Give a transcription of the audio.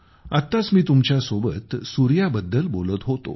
आत्ताच मी तुमच्यासोबत सूर्याबद्दल बोलत होतो